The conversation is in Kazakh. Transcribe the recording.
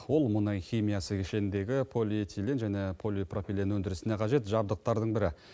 ол мұнай химиясы кешеніндегі полиэтилен және полипропилен өндірісіне қажет жабдықтардың бірі